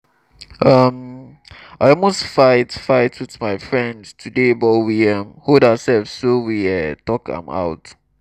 um i almost fight fight with my friend today but we um hold ourselves so we um talk am out